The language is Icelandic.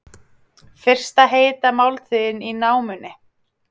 Fyrsta heita máltíðin í námunni